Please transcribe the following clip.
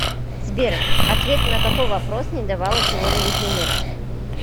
сбер ответ на какой вопрос не давала теория вегенера